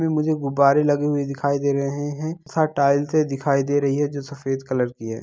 इसमें मुझे गुब्बारे लगे हुए दिखाई दे रहे हैं साथ टाइल्से दिखाई दे रही हैं जो सफेद कलर की है।